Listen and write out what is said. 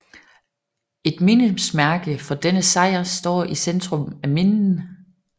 Et mindesmærke for denne sejr står i centrum af Minden